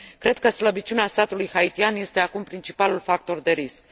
Cred că slăbiciunea statului haitian este acum principalul factor de risc.